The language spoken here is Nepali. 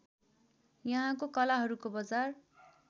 यहाँको कलाहरूको बजार